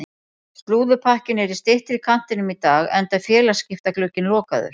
Slúðurpakkinn er í styttri kantinum í dag enda er félagaskiptaglugginn lokaður.